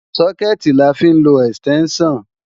Sókẹ̀tì la fi ń lọ ẹ̀stẹ́ńṣàn